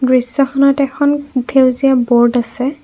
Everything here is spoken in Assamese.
দৃশ্যখনত এখন সেউজীয়া বোৰ্ড আছে।